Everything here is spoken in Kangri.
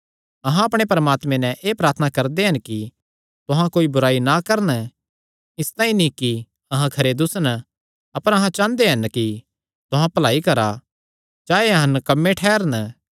अहां अपणे परमात्मे नैं एह़ प्रार्थना करदे हन कि तुहां कोई बुराई ना करन इसतांई नीं कि अहां खरे दुस्सन अपर अहां चांह़दे हन कि तुहां भलाई करा चाहे अहां नकम्मे ठैह़रन